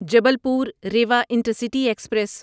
Jabalpur Rewa intercity express